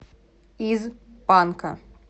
из панка